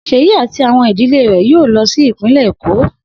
Seyi ati idile rẹ yoo lọ si ipinlẹ Eko.